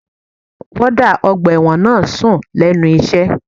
Wọ́ọ́dà ọgbà ẹ̀wọ̀n náà ń sùn lẹ́nu iṣẹ́